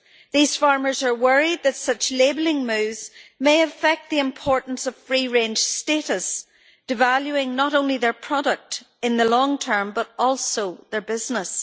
These farmers are worried that such labelling moves may affect the importance of free-range status, devaluing not only their product in the long term, but also their business.